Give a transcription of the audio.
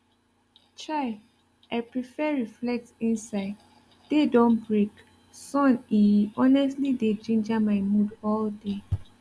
chai i prefer reflect inside day don break sun e e honestly dey ginger my mood all day